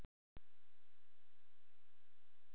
Jói, Baddi og Kobbi komu eftir dálitla stund.